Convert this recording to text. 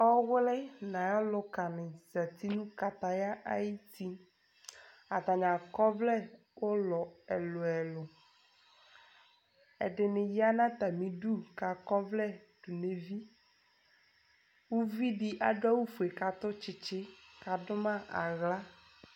ɔwli n'ayi aluka ni zati no kataya ayi ti atani akɔ ɔvlɛ ulɔ ɛlò ɛlò ɛdini ya n'atami du k'akɔ ɔvlɛ do n'evi uvi di adu awu fue k'atu tsitsi k'adu ma ala